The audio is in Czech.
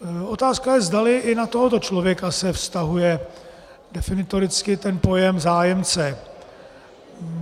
Otázka je, zdali i na tohoto člověka se vztahuje definitoricky ten pojem zájemce.